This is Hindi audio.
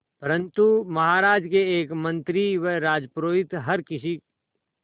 परंतु महाराज के एक मंत्री व राजपुरोहित हर किसी